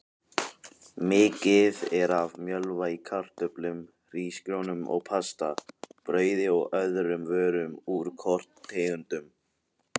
Mikið er af mjölva í kartöflum, hrísgrjónum og pasta, brauði og öðrum vörum úr korntegundum.